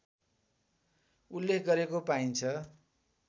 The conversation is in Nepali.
उल्लेख गरेको पाइन्छ